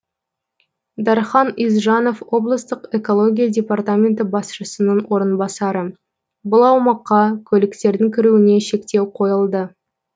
дархан исжанов облыстық экология департаменті басшысының орынбасары бұл аумаққа көліктердің кіруіне шектеу қойылды